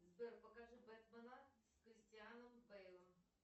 сбер покажи бэтмена с кристианом бэйлом